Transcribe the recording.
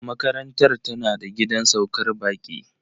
Makarantar tana da gidan saukar baƙi.